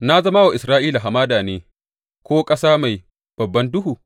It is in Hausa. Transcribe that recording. Na zama wa Isra’ila hamada ne ko ƙasa mai babban duhu?